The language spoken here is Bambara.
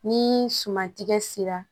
Ni suman tigɛ sera